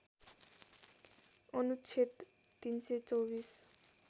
अनुच्छेद ३२४